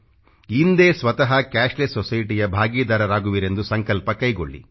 ಇಂದೇ ಸ್ವತಃ ಕ್ಯಾಶ್ಲೆಸ್ SOCIETYಯ ಭಾಗೀದಾರರಾಗುವಿರೆಂದು ಸಂಕಲ್ಪ ಕೈಗೊಳ್ಳಿ